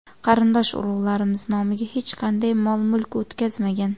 Qarindosh-urug‘larimiz nomiga hech qanday mol-mulk o‘tkazmagan.